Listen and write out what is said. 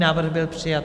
Návrh byl přijat.